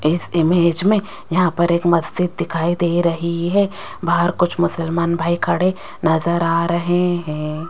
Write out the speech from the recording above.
इस इमेज में यहां पर एक मस्जिद दिखाई दे रही है बाहर कुछ मुसलमान भाई खड़े नजर आ रहे हैं।